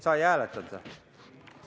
Sa ei hääletanud või?